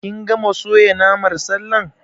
Kin gama soya naman sallar?